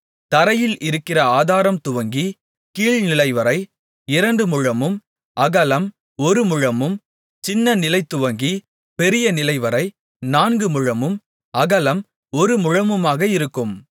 தரையில் இருக்கிற ஆதாரம் துவங்கிக் கீழ்நிலைவரை இரண்டு முழமும் அகலம் ஒருமுழமும் சின்ன நிலைதுவங்கிப் பெரிய நிலைவரை நான்குமுழமும் அகலம் ஒருமுழமுமாக இருக்கும்